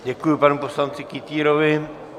Děkuji panu poslanci Kytýrovi.